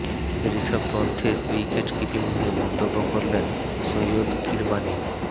ঋষভ পন্থের wicket keeping নিয়ে মন্তব্য করলেন সৈয়দ কিরমানি